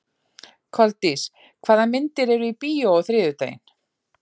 Koldís, hvaða myndir eru í bíó á þriðjudaginn?